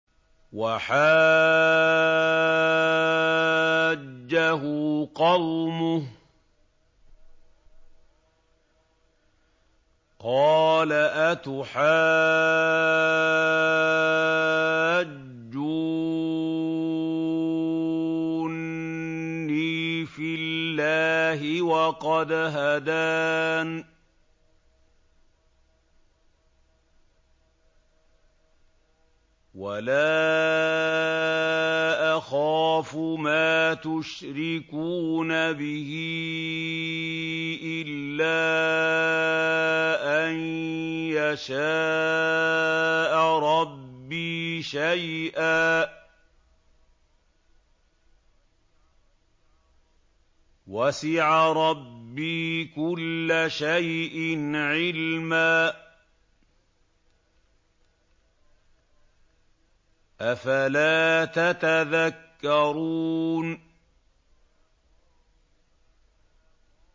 وَحَاجَّهُ قَوْمُهُ ۚ قَالَ أَتُحَاجُّونِّي فِي اللَّهِ وَقَدْ هَدَانِ ۚ وَلَا أَخَافُ مَا تُشْرِكُونَ بِهِ إِلَّا أَن يَشَاءَ رَبِّي شَيْئًا ۗ وَسِعَ رَبِّي كُلَّ شَيْءٍ عِلْمًا ۗ أَفَلَا تَتَذَكَّرُونَ